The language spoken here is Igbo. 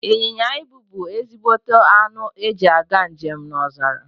Inyịnya ibu bu ezigbote anụ eji aga njem n'ọzara